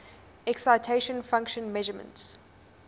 excitation function measurements